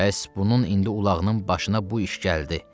Bəs bunun indi ulağının başına bu iş gəldi.